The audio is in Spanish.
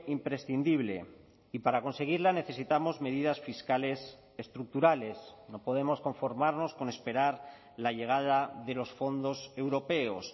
imprescindible y para conseguirla necesitamos medidas fiscales estructurales no podemos conformarnos con esperar la llegada de los fondos europeos